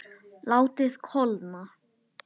Látið kólna.